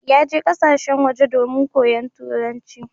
Ya je ƙasashen waje domin koyon turanci.